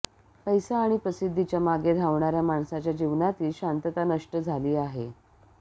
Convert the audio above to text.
पैसा आणि प्रसिद्धीच्या मागे धावणाऱ्या माणसाच्या जीवनातील शांतता नष्ट झाली आहे